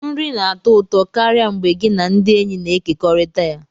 Nri na-atọ ụtọ karịa mgbe gị na ndị enyi na-ekekọrịta ya